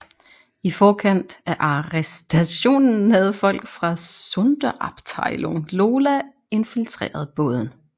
I forkant af arrestationen havde folk fra Sonderabteilung Lola infiltreret båden